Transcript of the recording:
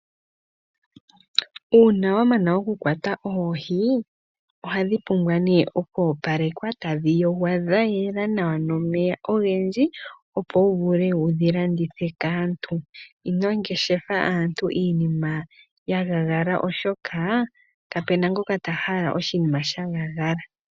Uuna wa mana oku kwata oohi, ohadhi pumbwa nee okoopalekwa tadhi yogwa dha yela nawa nomeya ogendji, opo wu vule wudhi landithe kaantu. Ino mgeshefa aantu iinima ya nyata, oshoka kapuna ngoka ta hala oshinima sha nyata.